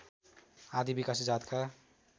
आदि विकासे जातका